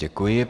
Děkuji.